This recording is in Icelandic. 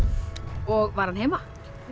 og var hann heima